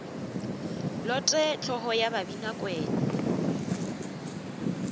lote hlogo ye ya babinakwena